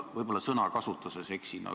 Kas Jevgeni Ossinovskil on protseduuriline küsimus?